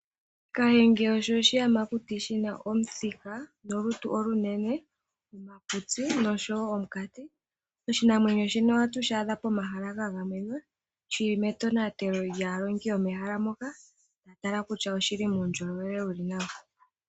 Kahenge osho oshiyamakuti shina omuthika, olutu olunene, omakutsi noshowo omukati. Oshinanwenyo shino ohatu shi adha mehala lya gamenwa, shili me tonatelo lyaalongi yo mehala moka taa tala kutya oshili muundjolowele wuli nawa.